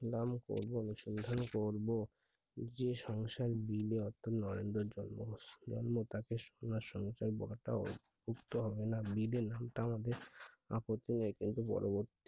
নাম করবো অনুসন্ধান করবো যে সংসার দিলে তাকে সোনার সংসার বুজতে হবে না যা নামটা আমাদের আপত্তি নাই কিন্তু পরবর্ত্তী